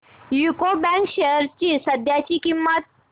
UCO bank shares ची सध्याची किंमत